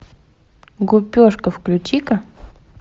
гупешка включи ка